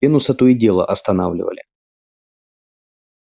венуса то и дело останавливали